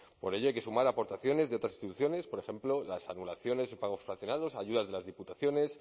por ello hay que sumar aportaciones de otras instituciones por ejemplo las anulaciones o pagos fraccionados ayudas de las diputaciones